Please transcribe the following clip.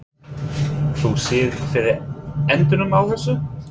Þú sérð fyrir endanum á þessu?